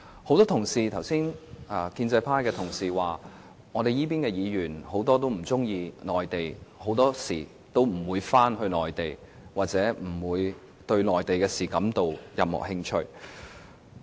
剛才很多建制派同事說，這邊很多議員不喜歡內地，很多時候不願意回內地，也不對內地的事感到有任何興趣。